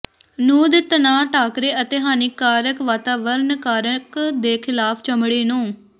ਨਹੁੰ ਦੇ ਤਣਾਅ ਟਾਕਰੇ ਅਤੇ ਹਾਨੀਕਾਰਕ ਵਾਤਾਵਰਣ ਕਾਰਕ ਦੇ ਖਿਲਾਫ ਚਮੜੀ ਨੂੰ